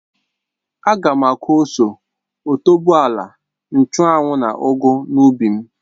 Ága m aku ose, otuboala, nchụ́anwu na ugu n'ubi m